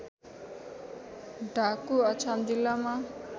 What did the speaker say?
ढाकु अछाम जिल्लामा